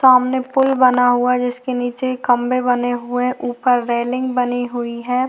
सामने पुल बना हुआ है जिसके नीचे एक खंभे बने हुए हैं ऊपर रेलिंग बनी हुई है।